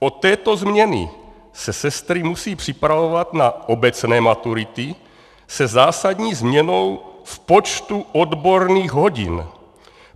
Od této změny se sestry musí připravovat na obecné maturity se zásadní změnou v počtu odborných hodin.